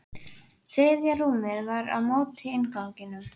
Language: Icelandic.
Þriðja rúmið var á móti innganginum.